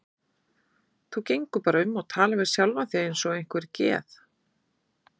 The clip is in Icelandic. Þú gengur bara um og talar við sjálfa þig eins og einhver geð